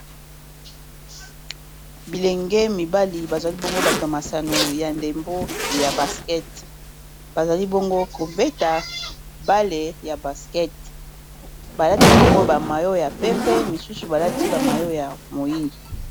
Bilenge mibali bazali bongo bato masano ya ndembo ya basket bazali bongo kobeta bale ya basket balati bongo ba mayo ya pembe misusu balati ba mayo ya moyindo.